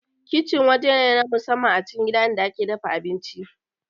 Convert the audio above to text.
Kicin waje ne na musamman a cikin gida inda ake dafa abinci